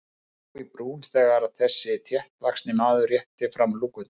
Honum brá í brún þegar þessi þéttvaxni maður rétti fram lúkuna.